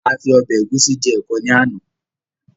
A fi Ọ̀bẹ ẹ̀gúsí je ẹ̀kọ ni àná.